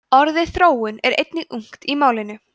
orðið þróun er einnig ungt í málinu